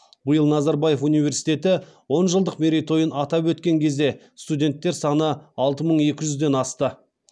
биыл назарбаев университеті он жылдық мерейтойын атап өткен кезде студенттер саны алты мың екі жүзден асты